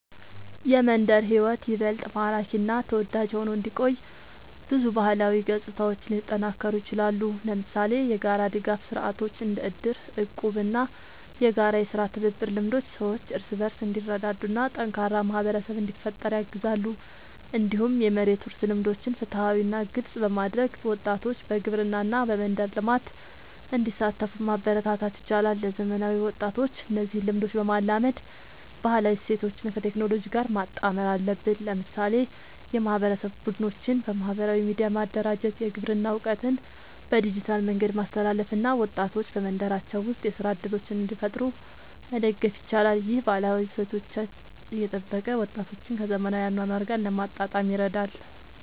የመንደር ሕይወት ይበልጥ ማራኪ እና ተወዳጅ ሆኖ እንዲቆይ ብዙ ባህላዊ ገጽታዎች ሊጠናከሩ ይችላሉ። ለምሳሌ የጋራ ድጋፍ ስርዓቶች እንደ እድር፣ እቁብ እና የጋራ የሥራ ትብብር ልምዶች ሰዎች እርስ በርስ እንዲረዳዱ እና ጠንካራ ማህበረሰብ እንዲፈጠር ያግዛሉ። እንዲሁም የመሬት ውርስ ልምዶችን ፍትሃዊ እና ግልጽ በማድረግ ወጣቶች በግብርና እና በመንደር ልማት እንዲሳተፉ ማበረታታት ይቻላል። ለዘመናዊ ወጣቶች እነዚህን ልምዶች ለማላመድ ባህላዊ እሴቶችን ከቴክኖሎጂ ጋር ማጣመር አለብን። ለምሳሌ የማህበረሰብ ቡድኖችን በማህበራዊ ሚዲያ ማደራጀት፣ የግብርና እውቀትን በዲጂታል መንገድ ማስተላለፍ እና ወጣቶች በመንደራቸው ውስጥ የሥራ እድሎችን እንዲፈጥሩ መደገፍ ይቻላል። ይህ ባህላዊ እሴቶችን እየጠበቀ ወጣቶችን ከዘመናዊ አኗኗር ጋር ለማጣጣም ይረዳል።